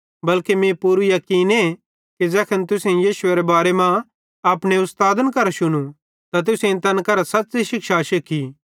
बल्के मीं पूरू याकीने कि ज़ैखन तुसेईं मसीहेरे बारे मां अपने उस्तादन करां शुनू त तुसेईं तैन करां सच़्च़ी शिक्षा शिख्खी